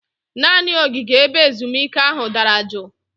Naanị ogige ebe ezumike ahụ dara juu